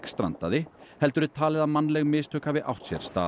strandaði heldur er talið að mannleg mistök hafi átt sér stað